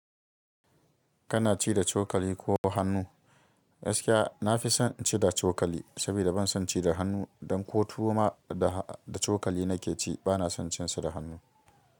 Kana ci da cokali ko hannu? Gaskiya na fi son ci da cokali saboda ban son ci da hannu. Dan ko tuwo ma da cokali na ke ci ba na son cin sa da hannu.